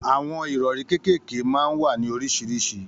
Àwọn ìrọ̀rí kékèké máa ń wà ní oríṣiríṣi